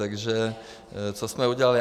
Takže co jsme udělali.